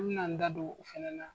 ɔn be na n da don u fɛnɛ na.